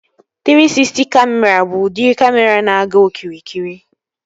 Trii Sisty Kamịra bụ udiri kamịra na-aga okirikiri